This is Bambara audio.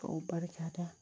K'o barika da